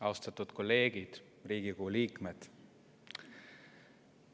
Austatud kolleegid, Riigikogu liikmed!